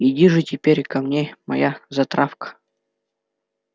иди же теперь ко мне моя затравка